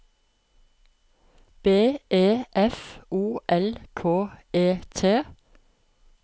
B E F O L K E T